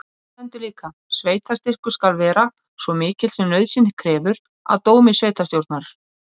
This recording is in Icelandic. Þarna stendur líka: Sveitarstyrkur skal vera svo mikill sem nauðsyn krefur. að dómi sveitarstjórnar.